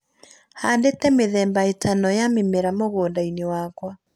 Handĩte mĩthemba ĩtano ya mĩmera mũgũnda-inĩ wakwa